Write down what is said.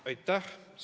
Aitäh!